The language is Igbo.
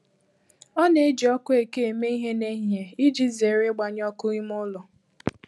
Ọ na-eji ọkụ eke eme ihe n'ehihie iji zere ịgbanye ọkụ ime ụlọ.